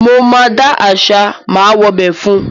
Mo máa dá àṣà ‘má wobẹ̀’ fún un.